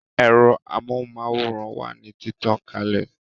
Ẹ̀rọ amóhùn máwòrán wà ní títàn kalè